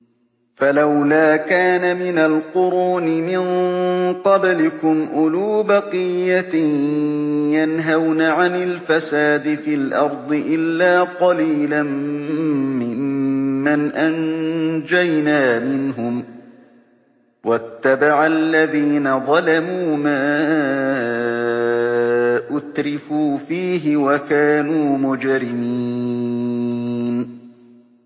فَلَوْلَا كَانَ مِنَ الْقُرُونِ مِن قَبْلِكُمْ أُولُو بَقِيَّةٍ يَنْهَوْنَ عَنِ الْفَسَادِ فِي الْأَرْضِ إِلَّا قَلِيلًا مِّمَّنْ أَنجَيْنَا مِنْهُمْ ۗ وَاتَّبَعَ الَّذِينَ ظَلَمُوا مَا أُتْرِفُوا فِيهِ وَكَانُوا مُجْرِمِينَ